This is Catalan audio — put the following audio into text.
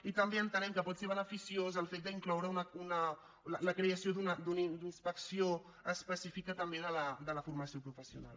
i també entenem que pot ser beneficiós el fet d’incloure la creació d’una inspecció específica també de la formació professional